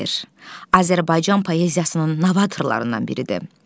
Azərbaycan poeziyasının novatorlarından biridir.